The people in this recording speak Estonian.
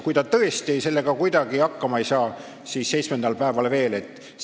Kui ta tõesti sellega kuidagi hakkama ei saa, siis seitsmendal päeval on tal veel võimalus hääletada.